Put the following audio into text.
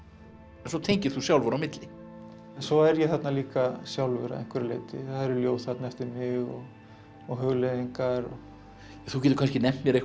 svo tengir þú sjálfur á milli svo er ég þarna líka sjálfur að einhverju leyti það eru ljóð þarna eftir mig og hugleiðingar þú getur kannski nefnt mér einhverja